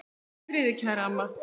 Hvíldu í friði, kæra amma.